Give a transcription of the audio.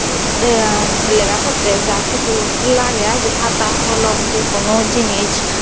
te eamm lega potte ja kisu lage aai de hata holom ji kono jinich.